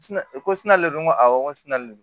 Ko sini ale dun ko awɔ n ko sini